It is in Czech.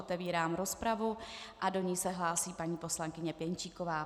Otevírám rozpravu a do ní se hlásí paní poslankyně Pěnčíková.